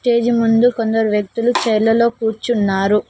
Stage ముందు కొందరు వ్యక్తులు చైర్ లలో కూర్చున్నారు.